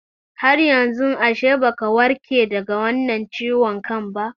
Haryanzu ashe baka warke daga wannan ciwon kan ba